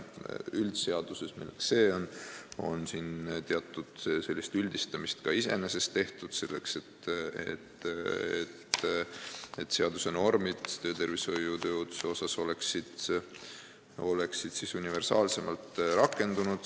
Üldseaduses, milleks on see seadus, on iseenesest tehtud teatud üldistamist, selleks et seaduse normid töötervishoiu ja tööohutuse alal oleksid universaalsemalt rakendunud.